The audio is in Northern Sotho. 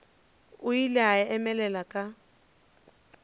o ile a emelela ka